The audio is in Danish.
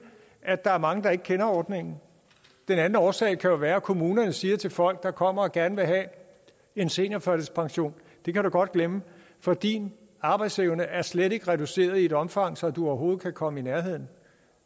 at der er mange der ikke kender ordningen og den anden årsag kan være at kommunerne siger til folk der kommer og gerne vil have en seniorførtidspension det kan du godt glemme for din arbejdsevne er slet ikke reduceret i et omfang så du overhovedet kan komme i nærheden